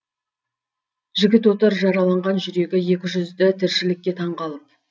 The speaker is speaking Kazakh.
жігіт отыр жараланған жүрегі екі жүзді тіршілікке таң қалып